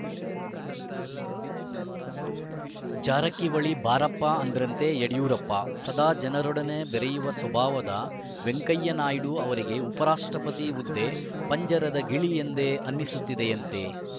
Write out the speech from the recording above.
ಜಾರಕಿಹೊಳಿ ಬಾರಪ್ಪ ಅಂದ್ರಂತೆ ಯಡಿಯೂರಪ್ಪ ಸದಾ ಜನರೊಡನೆ ಬೆರೆಯುವ ಸ್ವಭಾವದ ವೆಂಕಯ್ಯ ನಾಯ್ಡು ಅವರಿಗೆ ಉಪ ರಾಷ್ಟ್ರಪತಿ ಹುದ್ದೆ ಪಂಜರದ ಗಿಳಿ ಎಂದೇ ಅನ್ನಿಸುತ್ತದೆಯಂತೆ